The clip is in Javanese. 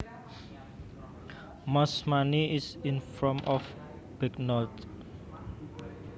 Most money is in form of banknotes